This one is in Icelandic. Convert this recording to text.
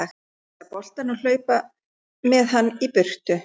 Hrifsa boltann og hlaupa með hann í burtu.